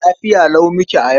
Lafiya lau muke a yau.